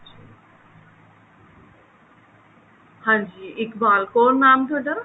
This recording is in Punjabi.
ਹਾਂਜੀ ਇਕਬਾਲ ਕੌਰ ਨਾਮ ਥੋਡਾ